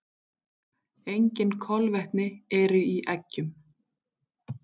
Engin kolvetni eru í eggjum.